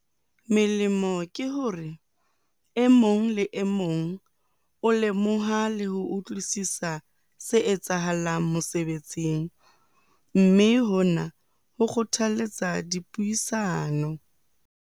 Melemo ke hore e mong le e mong o lemoha le ho utlwisisa se etsahalang mosebetsing, mme hona ho kgothaletsa dipuisano.